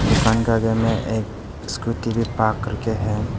दुकान के आगे में एक स्कूटी भी पार्क करते है।